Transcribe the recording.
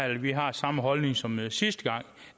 vi har samme holdning som sidste gang